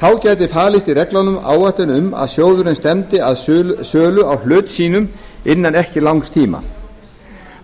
þá gæti falist í reglunum áætlun um að sjóðurinn stefndi að sölu á hlut sínum innan ekki langs tíma